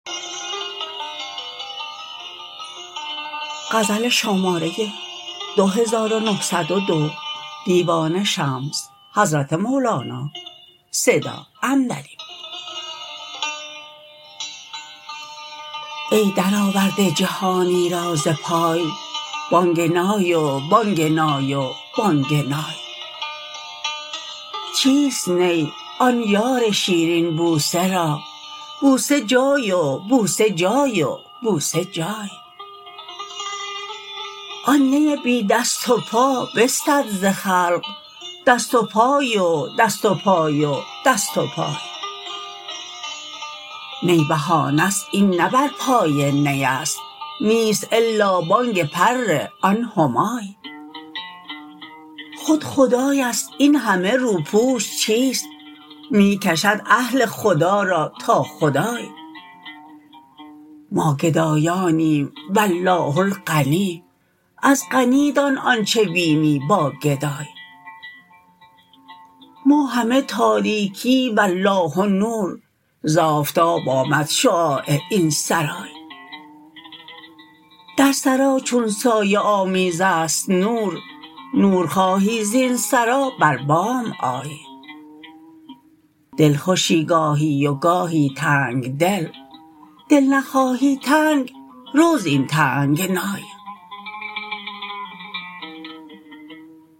ای درآورده جهانی را ز پای بانگ نای و بانگ نای و بانگ نای چیست نی آن یار شیرین بوسه را بوسه جای و بوسه جای و بوسه جای آن نی بی دست و پا بستد ز خلق دست و پای و دست و پای و دست پای نی بهانه ست این نه بر پای نی است نیست الا بانگ پر آن همای خود خدای است این همه روپوش چیست می کشد اهل خدا را تا خدای ما گدایانیم و الله الغنی از غنی دان آنچ بینی با گدای ما همه تاریکی و الله نور ز آفتاب آمد شعاع این سرای در سرا چون سایه آمیز است نور نور خواهی زین سرا بر بام آی دلخوشی گاهی و گاهی تنگ دل دل نخواهی تنگ رو زین تنگنای